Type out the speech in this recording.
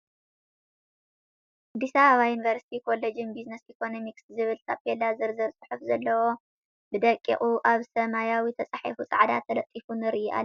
ኣዲስ አበባ ዩኒቨርሲቲ ኮሌጅ ቢዝነስ ኢኮኖሚክስ ዝብል ታፔላ ዝርዝር ፅሑፍ ዘለዎ ብደቂቁ ኣብ ሰመያዊ ተፃሓፎ ፃዕዳ ተለጢፉ ንሪኢ ኣለና ።